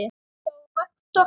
hjá Vektor.